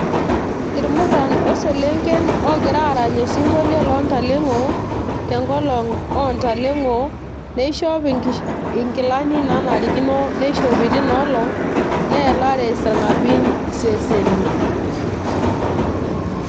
Irmuran, oseelenken ogira arany osinkolio lo ntalengo tenkolong ontalengo . nishop inkilani nanarikino tina olong neelare isarngabin iseseni